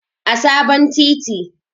a sabon titi